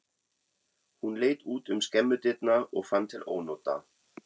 Hún leit út um skemmudyrnar og fann til ónota.